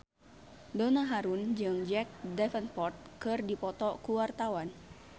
Donna Harun jeung Jack Davenport keur dipoto ku wartawan